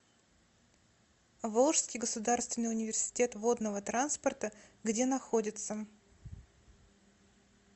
волжский государственный университет водного транспорта где находится